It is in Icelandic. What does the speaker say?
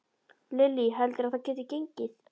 Lillý: Heldurðu að það geti gengið?